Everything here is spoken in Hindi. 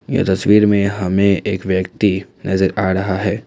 यह तस्वीर में हमें एक व्यक्ति नजर आ रहा है।